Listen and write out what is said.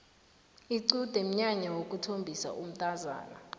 iqude mnyanya wokuthombisa umntazana